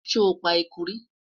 sho pa ẹkú rí?